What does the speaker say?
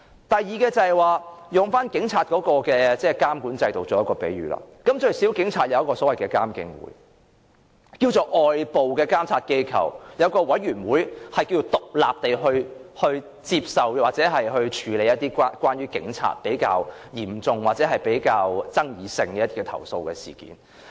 第二，以警察的監管制度作為比喻，最少警察有《獨立監察警方處理投訴委員會條例》，可稱作有一個外部監察機構，有委員會可以獨立接受或處理關於警察比較嚴重或比較富爭議性的投訴事件。